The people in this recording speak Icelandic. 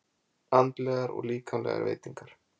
Andlegar og líkamlegar veitingar.